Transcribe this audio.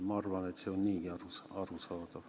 Ma arvan, et see on niigi arusaadav.